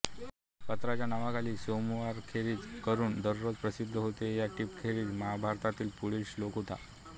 पत्राच्या नावाखाली सोमवारखेरीज करून दररोज प्रसिद्ध होतो या टिपेखेरीज महाभारतातील पुढील शोल्क होता